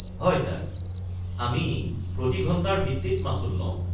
হয় ছাৰ, আমি প্ৰতি ঘণ্টাৰ ভিত্তিত মাচুল লওঁ।